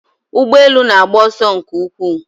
Ụgbọ elu na-agba ọsọ nke ukwuu